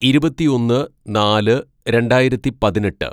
"ഇരുപത്തിയൊന്ന് നാല് രണ്ടായിരത്തി പതിനെട്ട്‌